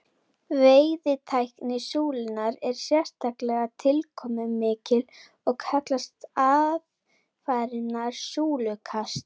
Veiðitækni súlunnar er sérstaklega tilkomumikil og kallast aðfarirnar súlukast.